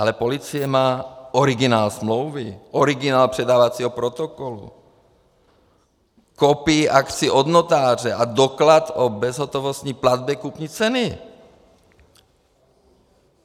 Ale policie má originál smlouvy, originál předávacího protokolu, kopii akcií od notáře a doklad o bezhotovostní platbě kupní ceny.